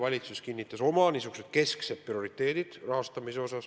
Eile kinnitas valitsus oma kesksed prioriteedid rahastamise osas.